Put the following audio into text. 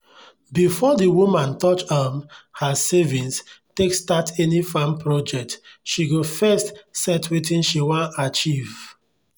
before the woman touch um her savings take start any farm project she go first set wetin she wan achieve.